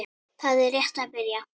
Það er rétt að byrja.